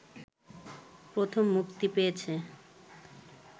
প্রথম মুক্তি পেয়েছে